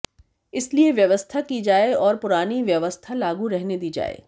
इसलिए व्यवस्था की जाए और पुरानी व्यवस्था लागू रहने दी जाए